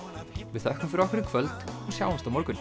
við þökkum fyrir okkur í kvöld og sjáumst á morgun